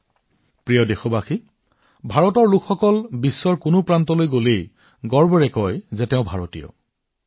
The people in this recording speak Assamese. মোৰ মৰমৰ দেশবাসীসকল ভাৰতৰ জনসাধাৰণে যেতিয়া বিশ্বৰ যি কোনো প্ৰান্তলৈ যায় গৌৰৱেৰে কয় যে তেওঁলোক ভাৰতীয়